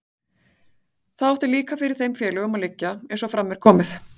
Það átti líka fyrir þeim félögunum að liggja, eins og fram er komið.